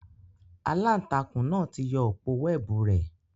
Àlàntakùn náa ti yọ òpó wẹẹbu rẹ